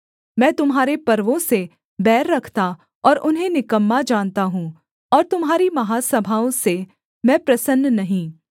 मैं तुम्हारे पर्वों से बैर रखता और उन्हें निकम्मा जानता हूँ और तुम्हारी महासभाओं से मैं प्रसन्न नहीं